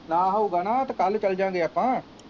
ਨਾ ਹਊਗਾ ਨਾ ਤੇ ਕੱਲ੍ਹ ਚੱਲ ਜਾਂਗੇ ਆਪਾਂ।